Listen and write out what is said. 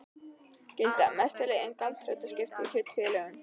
gilda að mestu leyti um gjaldþrotaskipti í hlutafélögum.